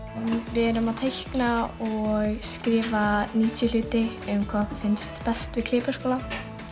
við erum að teikna og skrifa níutíu hluti um hvað okkur finnst best við Klébergsskóla